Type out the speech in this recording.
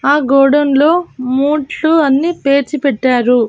ఆ గోడౌన్ లో మూట్లు అన్నీ పేర్చి పెట్టారు.